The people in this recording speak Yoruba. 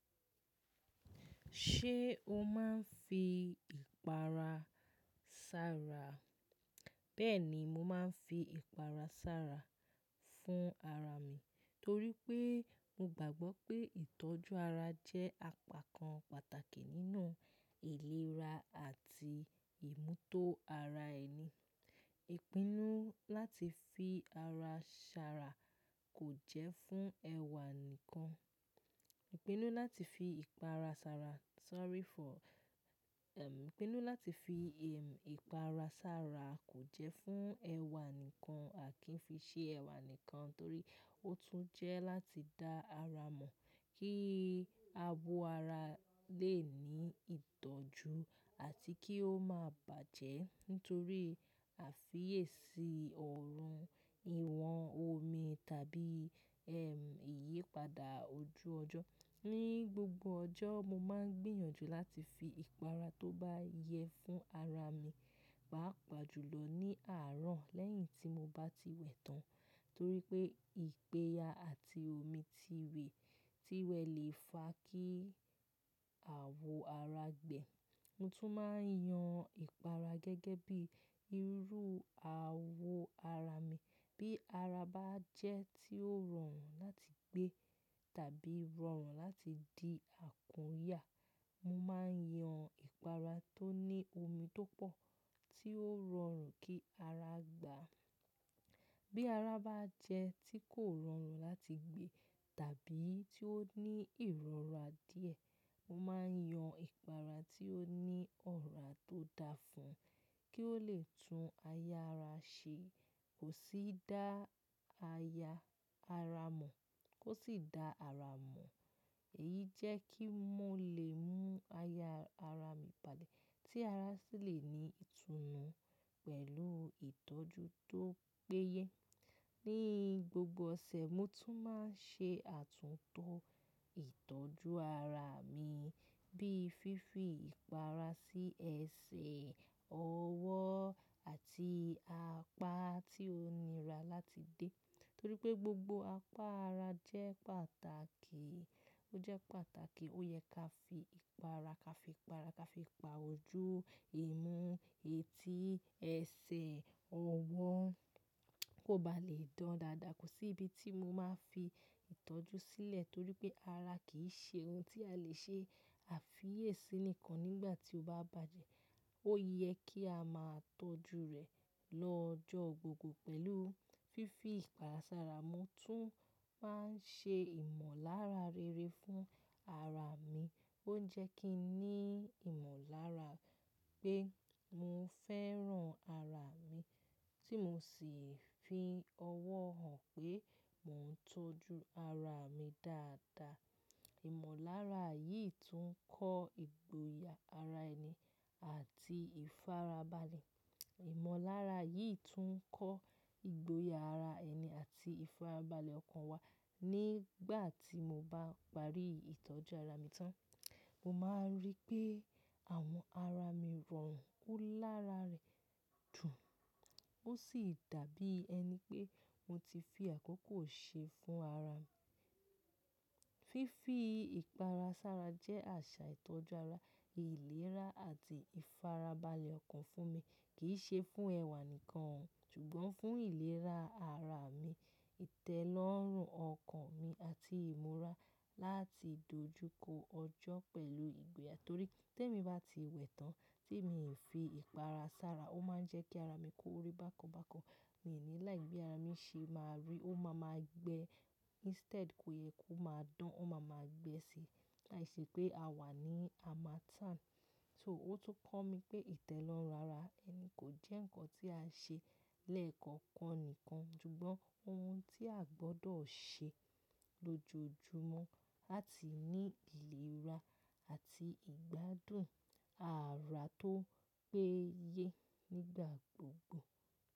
Ṣé o máa ń fi ìpara sára? Bẹ́ẹ̀ni, mo máa ń fi ìpara sára fún ara mi torí pé mo gbàgbọ́ pé ìtọ́jú ara jẹ́ àpákan pàtàkì nínú ìlera àti ìmùtó ara ẹni. Ìpinnu láti fi ara ṣàrà kò jẹ́ fún ẹwà nìkan. Ìpinnu láti fi ìpara sára, sorry for, ehm, ìpinnu láti fi, ehm, ìpara sára kò jẹ́ fún ẹwà nìkan àki ń fi ṣe ẹwà nìkan torí ó tún jẹ́ láti dá ara mọ̀ kí abo ara lè ní ìtọ́jú àti kí ó má bàjẹ́ nítorí àfiyèsí ọrùn, ìwọ̀n omi tàbí, ehm, ìyípadà ojú ọjọ́. Ni gbogbo ọjọ́, mo máa ń gbìyànjú láti fi ìpara tó bá yẹ fún ara mi, pàápàá jùlọ ní àárọ̀ lẹ́yìn tí mo bá ti wẹ̀ tán torí pé ìpeyà àti omi ti wẹ̀ ti wẹ̀ lè fa kí àwo ara gbẹ. Mo tún máa ń yan ìpara gẹ́gẹ́ bí irú àwo ara mi. Bí ara bá jẹ́ tí ó rọrùn láti gbé tàbí rọrùn láti di àkúnyà, mo máa ń yan ìpara tó ní omi tó pọ̀ tí ó rọrùn kí ara gbà. Bí ara bá jẹ́ tí kò rọrùn láti gbé tàbí tí ó ní ìrora díẹ̀, mo máa ń yan ìpara tí ó ní ọ̀rá tó dáa fún un kí ó lè tún aya ara ṣe, kò sì dá aya ara mọ̀, kó sì dá ara mọ̀. Èyí jẹ́ kí mo lè mú aya ara mi padà tí ara sì lè ní ìtùnú pẹ̀lú ìtọ́jú tó péye. Ni gbogbo ọ̀sẹ̀, mo tún máa ń ṣe àtúntò ìtọ́jú ara mi bíi fífi ìpara sí ẹsẹ̀, ọwọ́ àti apá tí ó nira láti dé torí pé gbogbo apá ara jẹ́ pàtàkì. Ó jẹ́ pàtàkì ó yẹ ká fi ìpara, ká fi ìpara, ká fi pa ojú, imú etí, ẹsẹ̀, ọwọ́, kó ba lè dán dàda. Kò sí ibi tí mo máa fi ìtọ́jú sílẹ̀ torí pé ara kì í ṣe ohun tí a lè ṣe àfiyèsí nìkan nígbà tí ó bá bàjẹ́. Ó yẹ kí a máa tọ́jú rẹ̀ lọ́jọ́ gbogbo pẹ̀lú fífi ìpara sára. Mo tún máa ń ṣe ìmọ̀lára rere fún ara mi. Ó ń jẹ́ kí n ní ìmọ̀lára pé mo fẹ́ràn ara mi tí mo sì fi ọwọ́ hàn pé mò ń tọ́jú ara mi dáadáa. Ìmọ̀lára yìí tún ń kọ́ ìgboyà ara ẹni àti ìfarabalẹ̀. Ìmọ̀lára yìí tún ń kọ́ ìgboyà ara ẹni àti ìfarabalẹ̀ ọkàn wa. Nígbà tí mo bá parí ìtọ́jú ara mi tán, mo máa ń rí pé àwọn ara mi rọrùn, ó lára rẹ̀ dùn, ó sì dàbí ẹni pé mo ti fi àkókò ṣe fún ara mi. Fífi ìpara sára jẹ́ àṣà ìtọ́jú ara, ìlera àti ìfarabalẹ̀ ọkàn fún mi. Kì í ṣe fún ẹwà nìkan o ṣùgbọ́n fún ìlera ara mi, ìtẹ́lọ́rùn ọkàn mi àti ìmúra láti dojúkọ ọjọ́ pẹ̀lú ìgboyà torí tí èmi bá ti wẹ̀ tán tí èmi fi ìpara sára, ó máa ń jẹ́ kí ara mi kó orí bákan bákan. Mi ò ní like bi ara mi ṣe máa rì, ó máa ma gbẹ, instead kó yẹ ko máa dán, ó máa ma gbẹ sí i. Làísì pé a wà ní, a máa tán. So ó tún kọ́ mi pé ìtẹ́lọ́rùn ara ẹni kò jẹ́ nǹkan tí a ṣe lẹ́ẹ̀kọ̀kan nìkan ṣùgbọ́n ohun tí aa gbọdọ̀ ṣe lójoojúmọ́ láti ní ìlera àti ìgbádùn ara tó péye nígbà gbogbo.